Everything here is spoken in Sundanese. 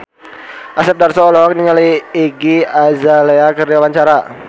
Asep Darso olohok ningali Iggy Azalea keur diwawancara